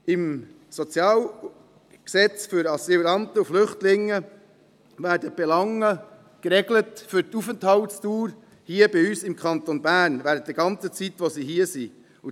Im Sozialgesetz für Asylanten und Flüchtlinge werden die Belange für die Aufenthaltsdauer hier bei uns im Kanton Bern geregelt, für die gesamte Zeit, die sie hier sind.